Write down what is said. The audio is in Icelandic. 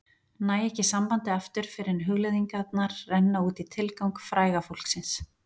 Næ ekki sambandi aftur fyrr en hugleiðingarnar renna út í tilgang fræga fólksins